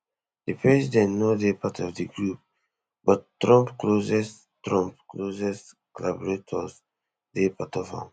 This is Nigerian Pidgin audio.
di president no dey part of di group but trump closest trump closest collaborators dey part of am